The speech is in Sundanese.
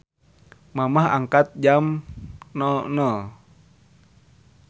Mamah angkat jam 00.00